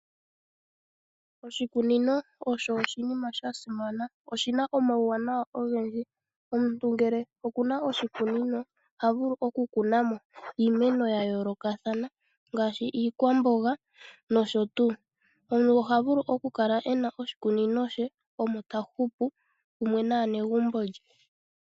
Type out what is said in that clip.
Oshikunino osho oshinima sha simana. Oshi na omawuwanawa ogendji. Omuntu ngele oku na oshikunino oha vulu okukuna mo iimeno ya yoolokathana ngaashi iikwamboga, nosho tuu. Omuntu oha vulu okukala e na oshikunino she omo ta hupu pamwe naanegumbo lye.